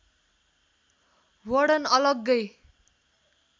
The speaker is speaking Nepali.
वर्णन अलग्गै